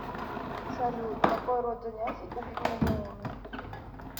салют какой род занятий у пигмалион